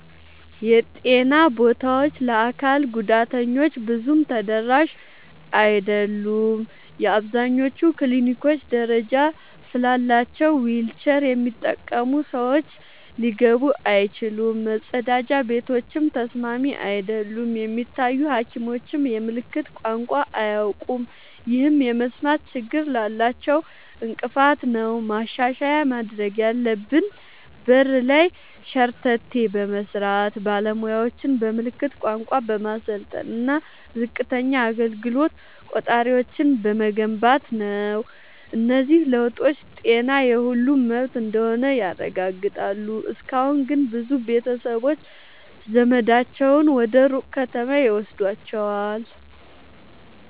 የጤና ቦታዎች ለአካል ጉዳተኞች ብዙም ተደራሽ አይደሉም። አብዛኞቹ ክሊኒኮች ደረጃ ስላላቸው ዊልቸር የሚጠቀሙ ሰዎች ሊገቡ አይችሉም፤ መጸዳጃ ቤቶችም ተስማሚ አይደሉም። የሚታዩ ሐኪሞችም የምልክት ቋንቋ አያውቁም፣ ይህም የመስማት ችግር ላላቸው እንቅፋት ነው። ማሻሻያ ማድረግ ያለብን በር ላይ ሸርተቴ በመስራት፣ ባለሙያዎችን በምልክት ቋንቋ በማሰልጠን እና ዝቅተኛ አገልግሎት ቆጣሪዎችን በመገንባት ነው። እነዚህ ለውጦች ጤና የሁሉም መብት እንደሆነ ያረጋግጣሉ። እስካሁን ግን ብዙ ቤተሰቦች ዘመዳቸውን ወደ ሩቅ ከተማ ይወስዷቸዋል።